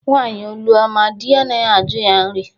Nwaanyị olu ọma, dị anaghị ajụ ya nrị